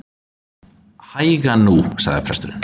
Hægan nú, sagði presturinn.